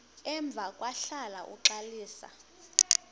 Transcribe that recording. emva kwahlala uxalisa